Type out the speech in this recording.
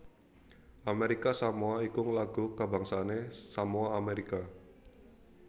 Amérika Samoa iku lagu kabangsané Samoa Amérika